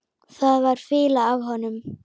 Það var fýla af honum.